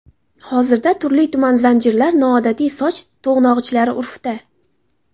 Hozirda turli-tuman zanjirlar, noodatiy soch to‘g‘nog‘ichlari urfda.